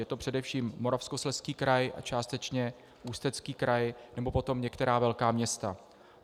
Je to především Moravskoslezský kraj a částečně Ústecký kraj, nebo potom některá velká města.